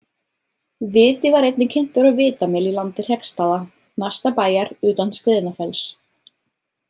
Viti var einnig kyntur á Vitamel í landi Hreggstaða, næsta bæjar utan Skriðnafells.